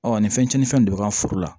Ɔ ni fɛn tiɲɛnifɛnw de bɛ k'an ka foro la